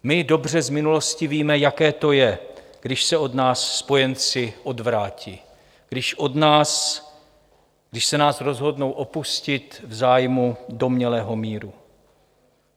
My dobře z minulosti víme, jaké to je, když se od nás spojenci odvrátí, když se nás rozhodnou opustit v zájmu domnělého míru.